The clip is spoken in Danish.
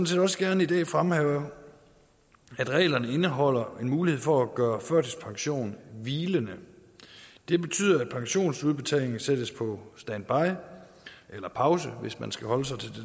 set også gerne i dag fremhæve at reglerne indeholder en mulighed for at gøre førtidspensionen hvilende det betyder at pensionsudbetalingen sættes på standby eller pause hvis man skal holde sig til